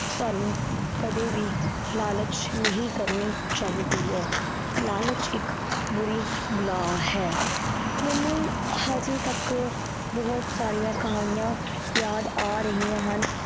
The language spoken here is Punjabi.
ਸਾਨੂੰ ਕਦੇ ਵੀ ਲਾਲਚ ਨਹੀਂ ਕਰਨੀ ਚਾਹੀਦੀ ਹੈ ਲਾਲਚ ਇੱਕ ਬੁਰੀ ਬਲਾ ਹੈ ਮੈਨੂੰ ਹਜੇ ਤੱਕ ਬਹੁਤ ਸਾਰੀਆਂ ਕਹਾਣੀਆਂ ਯਾਦ ਆ ਰਹੀਆਂ ਹਨ।